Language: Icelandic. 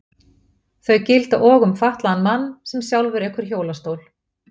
Þau gilda og um fatlaðan mann sem sjálfur ekur hjólastól.